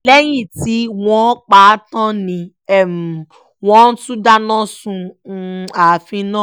lẹ́yìn tí wọ́n pa á tán ni wọ́n tún dáná sun ààfin náà